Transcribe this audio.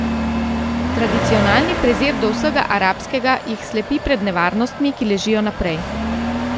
Tradicionalni prezir do vsega arabskega jih slepi pred nevarnostmi, ki ležijo naprej.